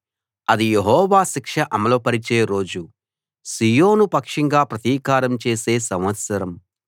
అది యెహోవా శిక్ష అమలుపరిచే రోజు సీయోను పక్షంగా ప్రతీకారం చేసే సంవత్సరం